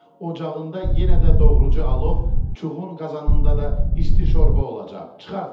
Ocağında yenə də doğrucu alov, çuğun qazanında da isti şorba olacaq.